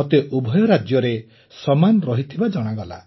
ମୋତେ ଉଭୟ ରାଜ୍ୟରେ ସମାନ ରହିଥିବା ଜଣାଗଲା